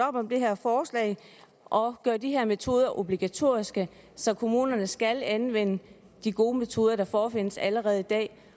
op om det her forslag og gøre de her metoder obligatoriske så kommunerne skal anvende de gode metoder der forefindes allerede i dag